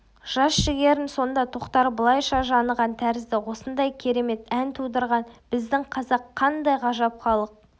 жас жігерін сонда тоқтар былайша жаныған тәрізді осындай керемет ән тудырған біздің қазақ қандай ғажап халық